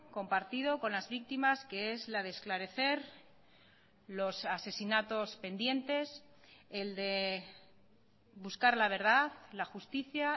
compartido con las víctimas que es la de esclarecer los asesinatos pendientes el de buscar la verdad la justicia